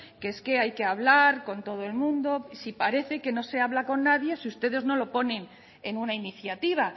que es que hay que hablar con todo el mundo si parece que no se habla con nadie si ustedes no lo ponen en una iniciativa